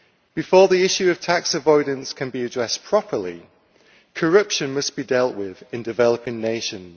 Before the issue of tax avoidance can be addressed properly, corruption must be dealt with in developing nations.